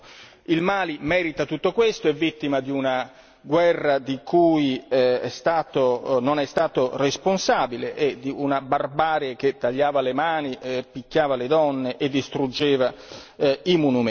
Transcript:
Il Mali merita tutto questo, è vittima di una guerra di cui non è stato responsabile, e di una barbarie che tagliava le mani, picchiava le donne e distruggeva i monumenti.